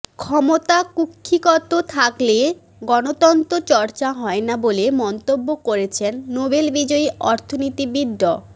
ক্ষমতা কুক্ষিগত থাকলে গণতন্ত্র চর্চা হয় না বলে মন্তব্য করেছেন নোবেল বিজয়ী অর্থনীতিবিদ ড